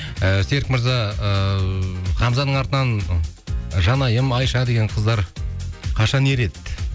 і серік мырза ыыы хамзаның артынан ы жанайым айша деген қыздар қашан ереді